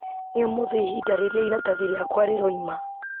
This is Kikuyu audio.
nĩ ũmũthĩ ihinda rĩrĩa iratathi rĩakwa rĩroima